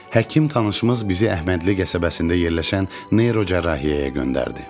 Həkim tanışımız bizi Əhmədli qəsəbəsində yerləşən neyrocərrahiyyəyə göndərdi.